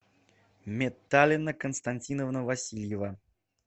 метталина константиновна васильева